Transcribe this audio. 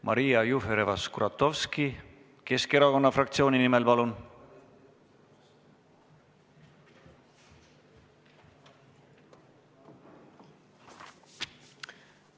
Maria Jufereva-Skuratovski Keskerakonna fraktsiooni nimel, palun!